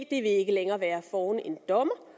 det vil ikke længere være foran en dommer